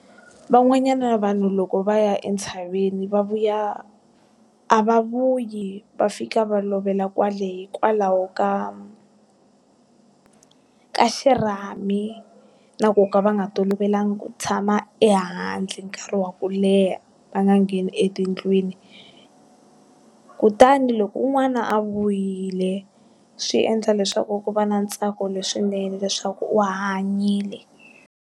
Van'wanyana vanhu loko va ya entshaveni va vuya, a va vuyi, va fika va lovela kwale hikwalaho ka ka xirhami na ku ka va nga tolovelanga ku tshama ehandle nkarhi wa ku leha va nga ngheni etindlwini. Kutani loko un'wana a vuyile, swi endla leswaku ku va na ntsako leswinene leswaku u hanyile.